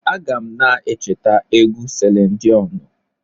Aga m na-echeta egwu Selin Diọnụ.